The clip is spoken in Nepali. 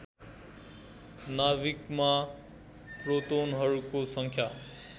नाभिकमा प्रोटोनहरूको सङ्ख्या